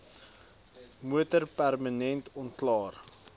motor permanent onklaar